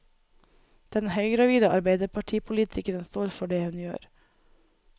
Den høygravide arbeiderpartipolitikeren står for det hun gjør.